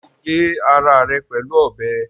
Ṣé o gé ara rẹ̀ pẹ̀lú ọbẹ̀?